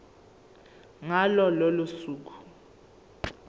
ngalo lolo suku